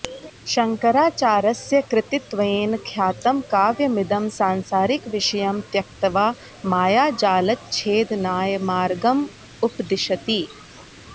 शङ्कराचार्यस्य कृतित्वेन ख्यातं काव्यमिदं सांसारिकविषयं त्यक्त्वा मायाजालच्छेदनाय मार्गमुपदिशति